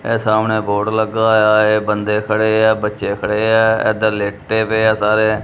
ਏਹ ਸਾਹਮਣੇ ਬੋਰਡ ਲੱਗਾ ਹੋਏ ਆ ਹੈ ਬੰਦੇ ਖੜੇ ਆ ਬੱਚੇ ਖੜੇ ਆ ਇੱਧਰ ਲੇਟੇਂ ਪਏ ਆ ਸਾਰੇ।